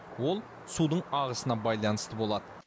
ол судың ағысына байланысты болады